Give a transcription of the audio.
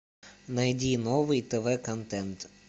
найди новый тв контент